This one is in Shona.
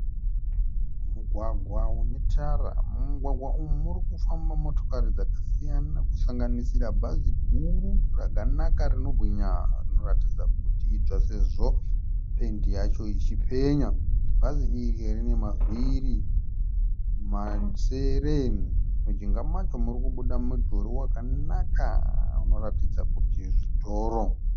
Mugwagwa une tara. Mumugwaga umu murikufamba motokari dzakasiyana kusanganisira bhazi guru rakanaka rinobwinya rinoratidza kuti idzva sezvo pendi yacho ichipenya. Bhazi iri rine mavhiri masere. Mujinga macho murikubuda mudhuri wakanaka unoratidza kuti zvitoro.